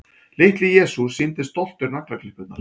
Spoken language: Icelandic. Litli-Jesús sýndi stoltur naglaklippurnar.